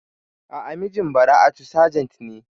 A'a, mijin Bara'atu sajent ne.